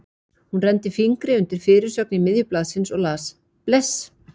Hún renndi fingri undir fyrirsögn í miðju blaðinu og las: Bless!